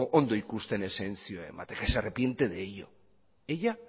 ondo ikusten exentzioa ematea que se arrepiente de ello ella